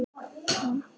Og stóð aldrei til.